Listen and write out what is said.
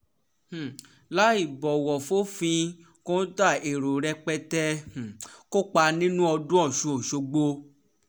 láì um bọ̀wọ̀ fòfin kọ́ńtà èrò rẹpẹtẹ um kópa nínú ọdún ọ̀sùn ọ̀ṣọ́gbó